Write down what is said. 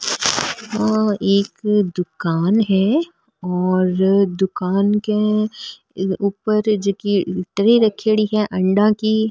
आ एक दुकान है और दुकान के ऊपर जकी ट्रे रखेड़ी है अंडा की।